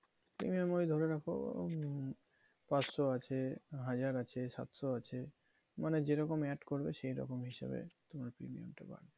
premium ঐ ধরে রাখো, উম পাঁচশো আছে, হাজার আছে, সাতশো আছে। মানে যে রকম Add করবে সেই রকম হিসেবে তোমার premium টা বাড়বে